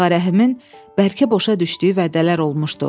Ağarəhimin bəlkə boşa düşdüyü vədələr olmuşdu.